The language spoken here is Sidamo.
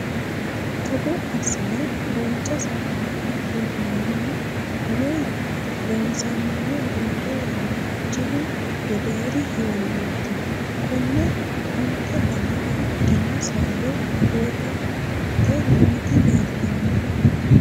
Togo assine duucha sagale worranihu woyi loonsannihu roore yanna jilu gedeeri heeriroti. Konne onte dana afidhino sagale worante nooti leelitannoe.